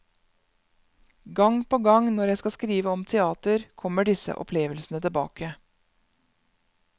Gang på gang, når jeg skal skrive om teater, kommer disse opplevelsene tilbake.